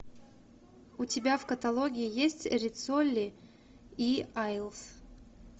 у тебя в каталоге есть риццоли и айлс